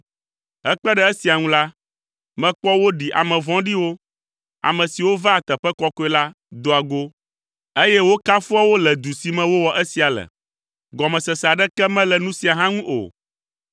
Hekpe ɖe esia ŋu la, mekpɔ woɖi ame vɔ̃ɖiwo, ame siwo vaa teƒe kɔkɔe la, doa go, eye wokafua wo le du si me wowɔ esia le. Gɔmesese aɖeke mele nu sia hã ŋu o.